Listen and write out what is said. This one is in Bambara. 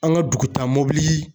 An ka dugutaamobili